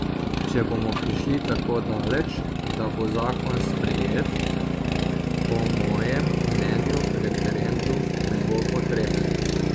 Če bomo prišli tako daleč, da bo zakon sprejet, po mojem mnenju referendum ne bo potreben.